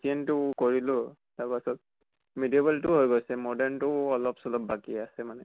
ancient টো কৰিলোঁ, medieval টো হৈ গʼল modern টো অলপ চলপ বাকী আছে মানে।